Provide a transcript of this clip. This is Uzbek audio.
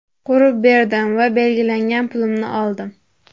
Qurib berdim va belgilangan pulimni oldim.